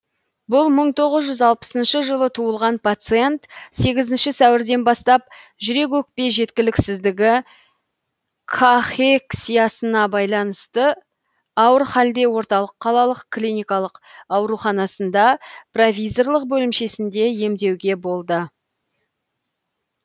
бұл мың тоғыз жүз алпысыншы жылы туылған пациент сегізінші сәуірден бастап жүрек өкпе жеткіліксіздігі ка хек сиясына байланысты ауыр халде орталық қалалық клиникалық ауруханасында провизорлық бөлімшесінде емдеуде болды